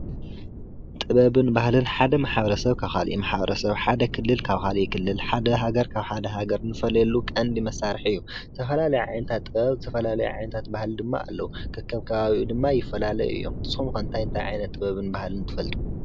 ጥበብን ባህልን ሓደ ማሕበረሰብ ካብ ካሊእ ማሕበረሰብ ሓደ ክልል ካብ ካሊእ ክልል ሓደ ሃገር ካብ ሓደ ሃገር ንፈልየሉ ቀንዲ መሳርሒ እዩ። ዝተፈላለዩ ዓይነታት ጥብብ ዝተፈላለዩ ዓይነታት ባህሊ ድማ አለው። ከከም ከባቢኡ ድማ ይፈላለዩ እዮም። ንስኩም ከ እንታይ እንታይ ዓይነት ባህልን ጥበብን ትፈልጡ